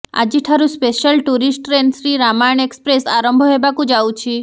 ଆଜିଠାରୁ special tourist train Shri Ramayana Express ଆରମ୍ଭ ହେବାକୁ ଯାଉଛି